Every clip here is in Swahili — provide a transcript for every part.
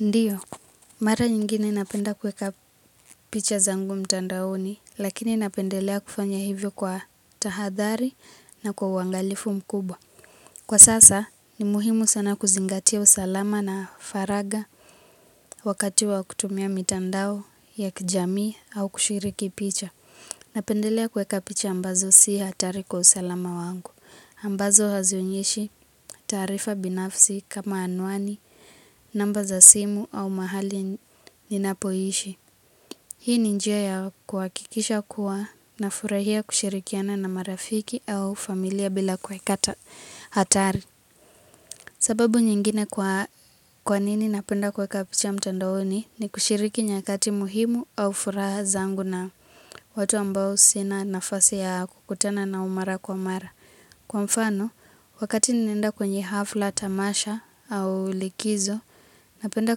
Ndiyo mara nyingi naye napenda kuweka picha zangu mitandaoni laini napendelea kufanya hivo kwa tahathari na kwa uangalifu mkubwa. Kwa sasa, ni muhimu sana kuzingatia usalama na faraga wakati wa kutumia mitandao ya kijamii au kushiriki picha. Napendelea kuweka picha ambazo si hatari kwa usalama wangu. Ambazo hazionyeshi taarifa binafsi kama anwani, namba za simu au mahali ninapoishi. Hii ni njia ya kuhakikisha kuwa na furahia kushirikiana na marafiki au familia bila kuweka hatari. Sababu nyingine kwa nini napenda kuweka picha mtandaoni ni kushiriki nyakati muhimu au furaha zangu na watu ambao sina nafasi ya kukutana na mara kwa mara. Kwa mfano, wakati ninaenda kwenye hafla tamasha au likizo, napenda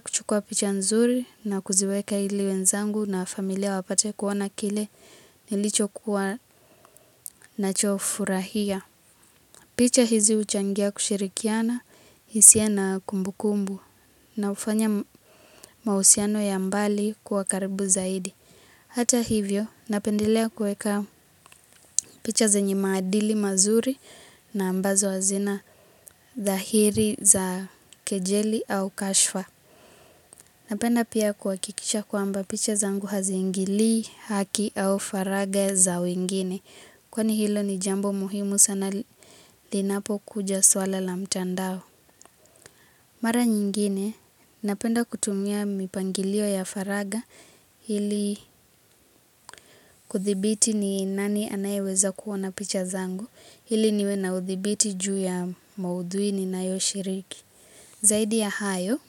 kuchukua picha nzuri na kuziweka ili wenzangu na familia wapate kuona kile nilicho kuwanacho furahia. Picha hizi huchangia kushirikiana, hisia na kumbukumbu, na hufanya mahusiano ya mbali kuwa karibu zaidi. Hata hivyo, napendelea kuweka picha zenye maadili mazuri na ambazo hazina dhahiri za kejeli au kashfa. Napenda pia kuhakikisha kwamba picha zangu haziingili haki au faraga za wengine. Kwani hilo ni jambo muhimu sana linapokuja swala la mtandao. Mara nyingine, napenda kutumia mipangilio ya faraga ili kuthibiti ni nani anayeweza kuona picha zangu, ili niwe na uthibiti juu ya maudhui ninayoshiriki. Zaidi ya hayo,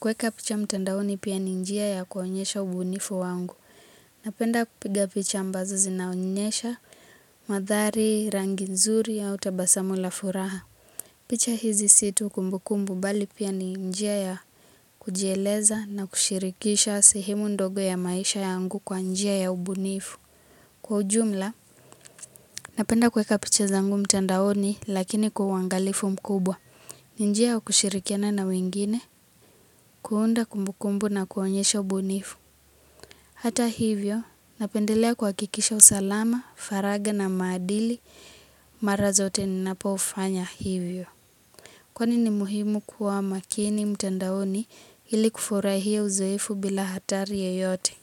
kuweka picha mtandaoni pia ni njia ya kuonyesha ubunifu wangu. Napenda kupiga picha ambazo zinaonyesha, maandhari, rangi nzuri au tabasamu la furaha. Picha hizi si tu kumbukumbu bali pia ni njia ya kujieleza na kushirikisha sehemu ndogo ya maisha yangu kwa njia ya ubunifu. Kwa ujumla, napenda kuweka picha zangu mtandaoni lakini kwa uangalifu mkubwa. Ni njia ya kushirikiana na wengine, kuunda kumbukumbu na kuonyesha ubunifu. Hata hivyo, napendelea kuhakikisha usalama, faraga na maadili mara zote ninapofanya hivyo. Kwani muhimu kuwa makini mtandaoni ili kufurahia uzoefu bila hatari yoyote.